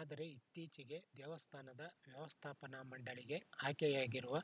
ಆದರೆ ಇತ್ತಿಚಿಗೆ ದೇವಸ್ಥಾನದ ವ್ಯವಸ್ಥಾಪನಾ ಮಂಡಳಿಗೆ ಆಯ್ಕೆಯಾಗಿರುವ